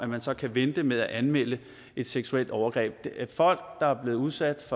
man så kan vente med at anmelde et seksuelt overgreb folk der er blevet udsat